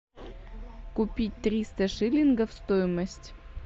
купить триста шиллингов стоимость